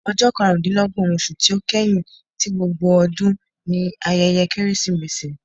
Ọjọ karundinlọgbọn oṣu ti o kẹhin ti gbógbó ọdun ni ayẹyẹ Keresimesi.